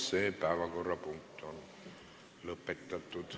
Selle päevakorrapunkti arutelu on lõpetatud.